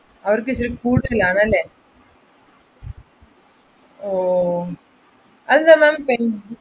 ആഹ് അവർക്ക് ഇച്ചിരി കൂടുതലാണെല്ലേ? അത് ma'am